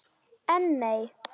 En, nei.